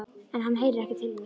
En hann heyrir ekki til mín.